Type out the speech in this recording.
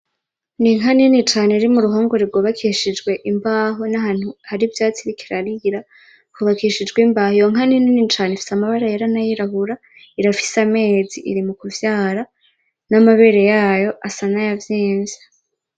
Inka nini cane iri mu ruhongore rwubakishijwe imbaho, nahantu hari ivyatsi iriko irarira hubakishijwe imbaho .Iyo nka ni nini cane ifise amabara yera n'ayirabura ,irafise amezi iri mukuvyara n'amabere yayo asa nayavyimvye.